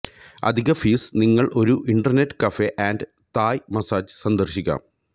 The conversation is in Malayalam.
അധിക ഫീസ് നിങ്ങൾ ഒരു internet cafe and Thai massage സന്ദർശിക്കാം